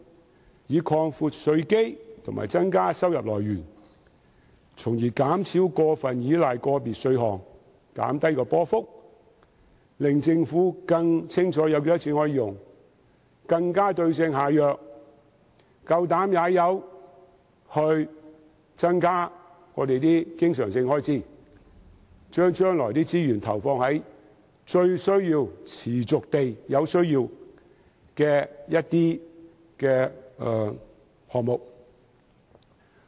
政府應擴闊稅基及增加收入來源，從而減少過分依賴個別稅項，減低政府收入波幅，令政府更清楚可用的款額，更能對症下藥，敢於增加經常性開支，把將來的資源投放在持續最有需要的項目。